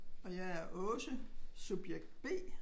Og jer er Åse subjekt B